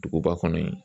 Duguba kɔnɔ yen